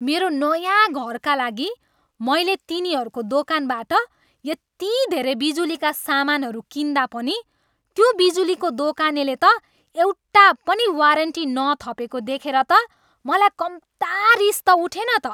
मेरो नयाँ घरका लागि मैले तिनीहरूको दोकानबाट यति धेरै बिजुलीका सामानहरू किन्दा पनि त्यो बिजुलीको दोकानले त एउटा पनि वारन्टी नथपेको देखेर त मलाई कम्ता रिस त उठेन त।